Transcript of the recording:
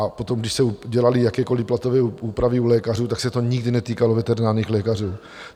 A potom když se dělaly jakékoliv platové úpravy u lékařů, tak se to nikdy netýkalo veterinárních lékařů.